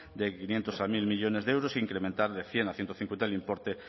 de quinientos a mil millónes de euros incrementar de cien a ciento cincuenta el importe